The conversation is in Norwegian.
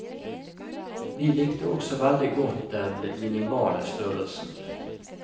Vi likte også veldig godt den minimale størrelsen.